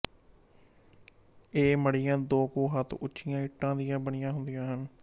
ਇਹ ਮੜੀਆਂ ਦੋ ਕੁ ਹੱਥ ਉੱਚੀਆਂ ਇੱਟਾਂ ਦੀਆਂ ਬਣੀਆਂ ਹੁੰਦੀਆਂ ਹਨ